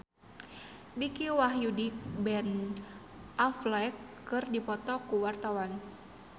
Dicky Wahyudi jeung Ben Affleck keur dipoto ku wartawan